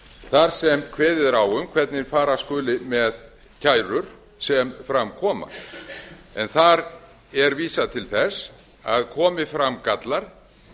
þar sem kveðið er á um hvernig fara skuli með kærur sem fram koma en þar er vísað til þess að komi fram gallar